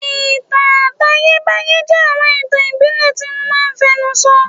Ìtàn àtayébáyé jẹ́ àwọn ìtàn ìbílẹ̀ tí wọ́n máa n fẹnu sọ